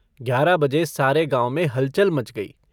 ग्यारह बजे सारे गाँव में हलचल मच गई।